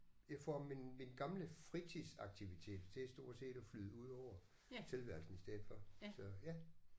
Jeg får mine mine gamle fritidsaktiviteter til stort set at flyde ud over tilværelsen i stedet for så ja